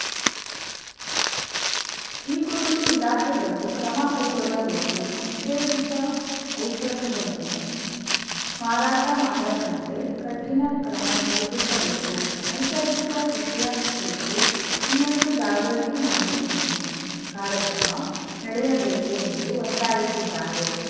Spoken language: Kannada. ಈ ಕುರಿತು ಇಲಾಖೆಗಳು ಕ್ರಮ ಕೈಗೊಳ್ಳಬೇಕು ನಿಷೇಧಿತ ಔಷಧಗಳನ್ನು ಮಾರಾಟ ಮಾಡದಂತೆ ಕಠಿಣ ಕ್ರಮ ಜರುಗಿಸಬೇಕು ನೈಸರ್ಗಿಕ ಕೃಷಿಯ ಕುರಿತು ಇನ್ನಷ್ಟುಜಾಗೃತಿ ಮಾಡಿಸುವ ಕಾರ್ಯಕ್ರಮ ನಡೆಯಬೇಕು ಎಂದು ಒತ್ತಾಯಿಸಿದ್ದಾರೆ